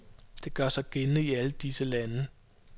Det gør sig gældende i alle disse lande.